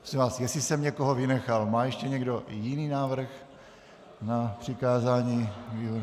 Prosím vás, jestli jsem někoho vynechal, má ještě někdo jiný návrh na přikázání výborům?